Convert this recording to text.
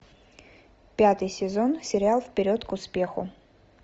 пятый сезон сериал вперед к успеху